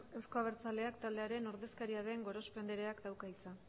euzko abertzaleak taldearen ordezkaria den gorospe andereak dauka hitza